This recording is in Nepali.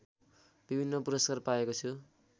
विभिन्न पुरस्कार पाएको छु